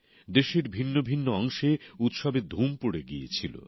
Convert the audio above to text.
দেশের ভিন্ন ভিন্ন অংশে উৎসবের ধুম পড়ে গিয়েছিল